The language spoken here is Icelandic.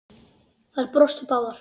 Þær brostu báðar.